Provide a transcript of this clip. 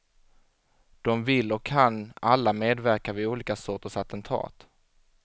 De vill och kan alla medverka vid olika sorters attentat.